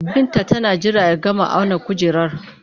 Binta tana jira ya gama auna kujerar